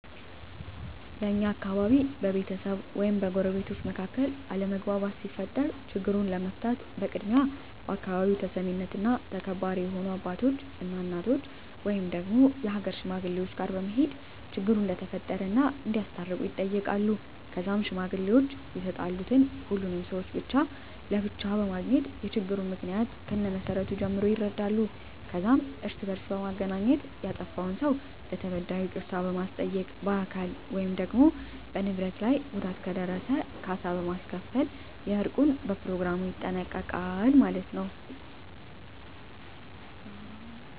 በእኛ አካባቢ በቤተሰብ ወይም በጎረቤቶች መካከል አለመግባባት ሲፈጠር ችግሩን ለመፍታት በቅድሚያ በአካባቢው ተሰሚነትና ተከባሪ የሆኑ አባቶች እና እናቶች ወይም የሀገር ሽማግሌወች ጋር በመሄድ ችግሩ እንደተፈጠረ እና እንዲያስታርቁ ይጠየቃሉ ከዛም ሽማግሌወች የተጣሉትን ሁሉንም ሰውች ብቻ ለብቻ በማግኘት የችግሩን ምክንያ ከመሰረቱ ጀምሮ ይረዳሉ ከዛም እርስ በእርስ በማገናኘት ያጠፍውን ሰው ለተበዳዩ ይቅርታ በማስጠየቅ በአካል ወይም በንብረት ላይ ጉዳት ከደረሰ ካሳ በማስከፈል የእርቁን በኘሮግራሙ ይጠናቀቃል ማለት የው።